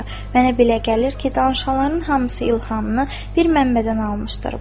Mənə belə gəlir ki, danışanların hamısı İlhamını bir mənbədən almışdır.